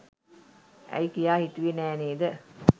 ඇයි කියා හිතුවේ නෑ නේද?